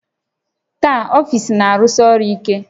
Taa, ọfiisi na-arụsi ọrụ ike